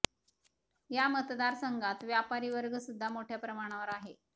या मतदार संघात व्यापारी वर्ग सुद्धा मोठ्या प्रमाणावर आहे